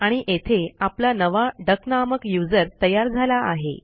आणि येथे आपला नवा डक नामक यूझर तयार झाला आहे